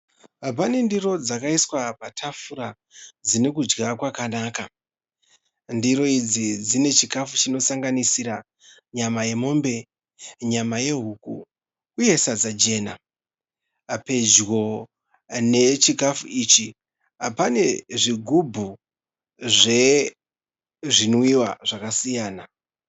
Pane ndiro dzakaiswa patafura dzine kudya kwakanaka. Ndiro idzi dzine chikafu chino sanganisira nyama yemombe, nyama yehuku uye sadza jena. Pedyo nechikafu ichi pane zvigubhu zvezvinwiwa zvakasiyana.